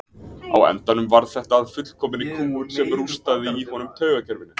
Á endanum varð þetta að fullkominni kúgun sem rústaði í honum taugakerfinu.